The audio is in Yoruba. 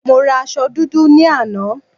Mo ra aṣọ dúdú ní àná